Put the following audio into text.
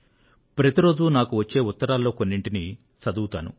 ప్రతి రోజూ నాకు వచ్చే ఉత్తరాల్లో కొన్నింటిని చదువుతాను